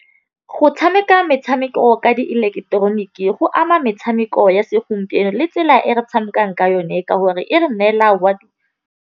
Go tšhameka metšhameko ka dieleketeroniki go ama metšhameko ya segompieno le tsela e re tšhamekang ka yone ka gore e re neela .